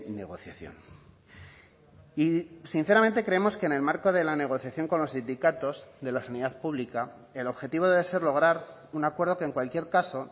negociación y sinceramente creemos que en el marco de la negociación con los sindicatos de la sanidad pública el objetivo debe ser lograr un acuerdo que en cualquier caso